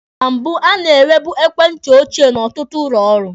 Na mbụ, a na-enwebu ekwentị ochie n'ọtụtụ ụlọ ọrụ.